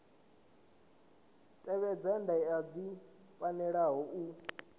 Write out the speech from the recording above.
tevhedza ndaela dzi pfalaho u